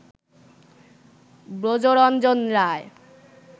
Brajaranjan Roy